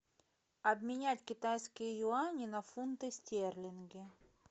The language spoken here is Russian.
обменять китайские юани на фунты стерлинги